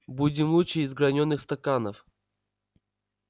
будем лучше из гранёных стаканов